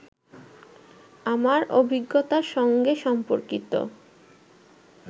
আমার অভিজ্ঞতার সঙ্গে সম্পর্কিত